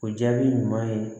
O jaabi ɲuman ye